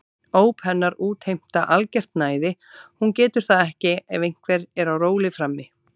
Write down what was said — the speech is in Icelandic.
Óp hennar útheimta algert næði, hún getur það ekki ef einhver er á róli frammi.